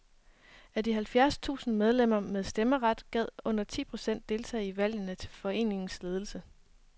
Af de halvfjerds tusind medlemmer med stemmeret gad under ti procent deltage i valgene til foreningens ledelse.